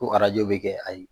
Ko arajo bɛ kɛ ayi